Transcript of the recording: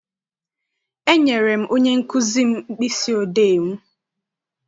E nyere m onye nkụzi m mkpịsị odee m.